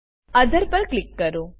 author પર click કરો